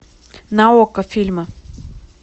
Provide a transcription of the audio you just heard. на окко фильмы